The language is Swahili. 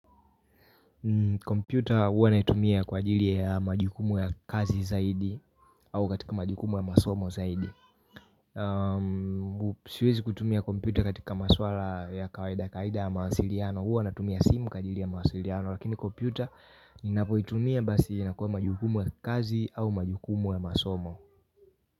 Kompyuta huwa naitumia kwa ajili ya majukumu ya kazi zaidi au katika majukumu ya masomo zaidi. Siwezi kutumia kompyuta katika maswala ya kawaida kawaida ya mawasiliano huwa natumia simu kwa jili ya mawasiliano lakini kompyuta ni napoitumia basi inakuwa majukumu ya kazi au majukumu ya masomo.